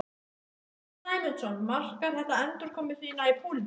Sunna Sæmundsdóttir: Markar þetta endurkomu þína í pólitík?